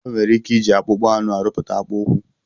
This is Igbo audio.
Enwere ike iji akpụkpa anụ arụpụta akpụ ụkwụ.